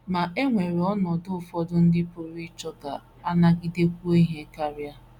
Ma e nwere ọnọdụ ụfọdụ ndị pụrụ ịchọ ka a nagidekwuo ihe karị.